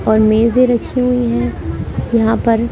और मेजें रखी हुई हैं यहां पर--